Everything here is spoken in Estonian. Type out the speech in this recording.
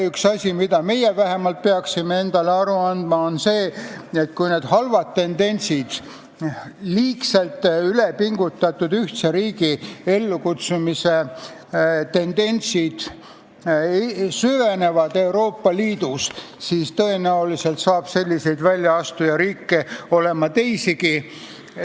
Üks asi, millest vähemalt meie peaksime endale aru andma, on see, et kui need halvad tendentsid, liigselt ülepingutatud ühtse riigi ellukutsumise tendentsid Euroopa Liidus süvenevad, siis tõenäoliselt on selliseid väljaastujariike teisigi.